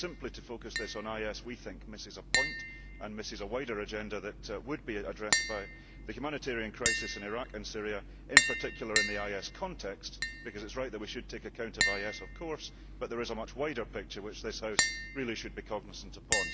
To focus this simply on IS, we think, misses a point and misses a wider agenda that would be addressed by The humanitarian crisis in Iraq and Syria, in particular in the IS context', because it is right that we should take account of IS, of course, but there is a much wider picture which this House should really be cognisant of.